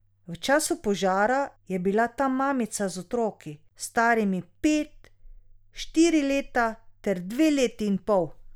V času požara je bila tam mamica z otroki, starimi pet, štiri leta ter dve leti in pol.